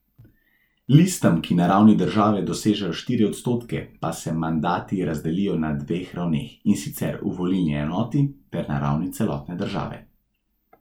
Listam, ki na ravni države dosežejo štiri odstotke, pa se mandati razdelijo na dveh ravneh, in sicer v volilni enoti ter na ravni celotne države.